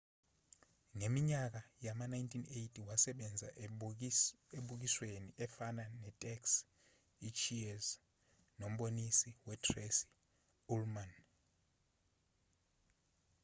ngeminyaka yama-1980 wasebenza emibukisweni efana netaxi i-cheers nomboniso we-tracy ullman